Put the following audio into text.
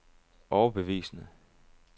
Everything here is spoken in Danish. overbevisende